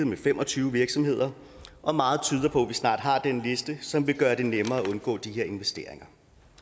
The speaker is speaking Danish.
med fem og tyve virksomheder blevet og meget tyder på at vi snart har den liste som vil gøre det nemmere at undgå de her investeringer